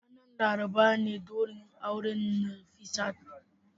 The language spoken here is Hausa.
Ranar Laraba ne daurin auren Nafisat.